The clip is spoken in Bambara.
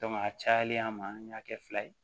a cayalen ma an y'a kɛ fila ye